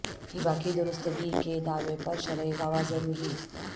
ہبہ کی درستگی کے دعوی پر شرعی گواہ ضروری